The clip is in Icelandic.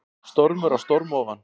Stormur á storm ofan